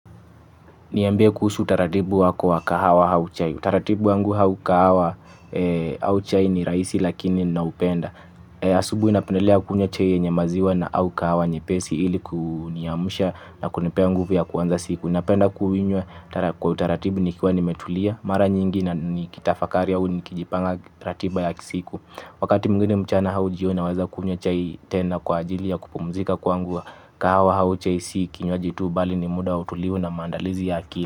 Niambie kuhusu utaratibu wako wa kahawa au chai. Utaratibu wangu au kahawa au chai ni rahisi lakini naupenda. Asubuhi napendelea kunywa chai yenye maziwa na au kahawa nyepesi ili kuniamsha na kunipea nguvu ya kuanza siku. Napenda kuinywa kwa utaratibu nikiwa nimetulia. Mara nyingi na nikitafakari au nikijipanga ratiba ya kisiku. Wakati mwigine mchana au jioni naweza kunywa chai tena kwa ajili ya kupumzika kwangu. Kahawa au chai si kinywaji tu bali ni muda utulivu na maandalizi ya akili.